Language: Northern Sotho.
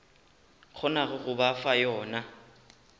kgonago go ba fa yona